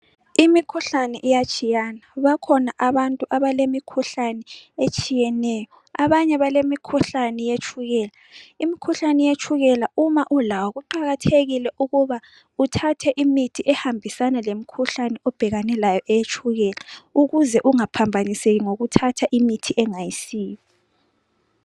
Imikhuhlane iyatshiyana. Bakhona abantu abalemikhuhlane etshiyeneyo. Abanye balemikhuhlane eyetshukela. Imikhuhlane yetshukela uma ulawo kuqakathekile ukuba uthathe imithi ehambisana lemikhuhlane obhekane layo eyetshukela ukuze ungaphambaniseki ngokuthatha imithi engayisiyo.